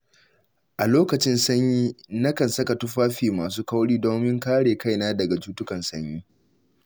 A lokacin sanyi, nakan saka tufafi masu kauri domin kare kaina daga cutukan sanyi.